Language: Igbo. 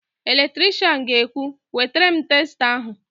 Eletrishian ga-ekwu, "wetara m testa ahụ"!